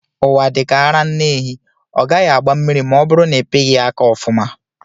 Ụwa dika ara nne ehi, ọ gaghị agba mmiri ma ọ bụrụ na ịpighi ya aka ọfuma.